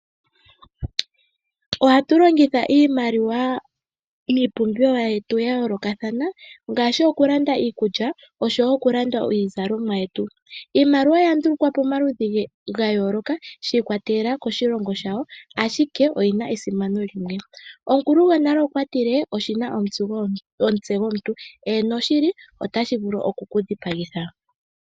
Ohatu longitha iimaliwa miipumbiwa yetu ya yoolokathana ngaashi oku landa iikulya oshowo oku landa iizalomwa yetu. Iimaliwa oya ndulukwa pamaludhi ga yooloka, shi ikwatelela koshilongo shayo ashike oyi na esimano limwe. Omukulu gonale okwa tile "Oshina omutse gomuntu", eeno shili, otashi vulu oku ku dhipagitha.